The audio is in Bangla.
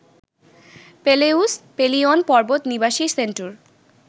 পেলেউস, পেলিয়ন পর্বত নিবাসী সেন্ট্যুর